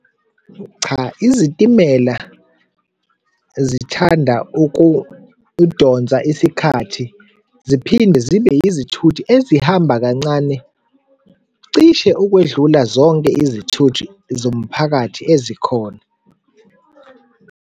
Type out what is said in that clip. Cha, izitimela zithanda ukudonsa isikhathi, ziphinde zibe izithuthi ezihamba kancane cishe ukwedlula zonke izithuthi zomphakathi ezikhona.